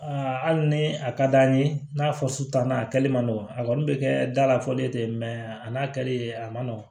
Aa hali ni a ka d'an ye n'a fɔ sutan na a kɛli man nɔgɔn a kɔni bɛ kɛ da la fɔlen tɛ a n'a kɛli a man nɔgɔn